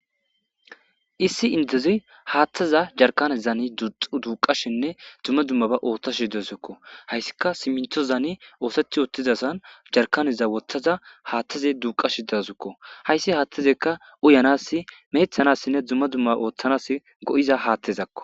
issi inteziy haattaza jarkanezani duxu duuqashinne dumma dummaba ooththashi dawusukko hayssika siminthozani oosethiottizasan jarkaneza wothaza haattaze duuqashi dazukko hayssi haattazekka uyanass meethanassinne dumma dumma ooththanas go7iza haattezakko